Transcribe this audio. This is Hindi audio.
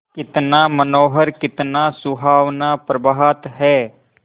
कितना मनोहर कितना सुहावना प्रभात है